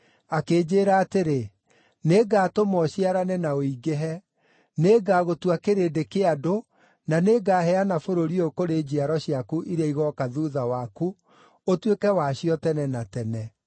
akĩnjĩĩra atĩrĩ, ‘Nĩngatũma ũciarane na ũingĩhe. Nĩngagũtua kĩrĩndĩ kĩa andũ, na nĩngaheana bũrũri ũyũ kũrĩ njiaro ciaku iria igooka thuutha waku ũtuĩke wacio tene na tene.’